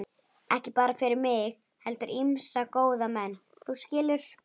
Ekki bara fyrir mig heldur ýmsa góða menn, þú skilur.